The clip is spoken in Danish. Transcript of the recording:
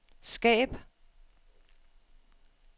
skab